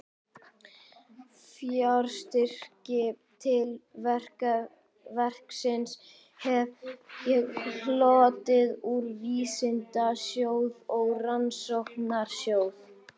Fjárstyrki til verksins hef ég hlotið úr Vísindasjóði og Rannsóknarsjóði